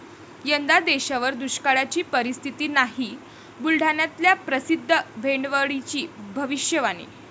यंदा देशावर दुष्काळाची परिस्थिती नाही, बुलढाण्यातल्या प्रसिद्ध भेंडवळची भविष्यवाणी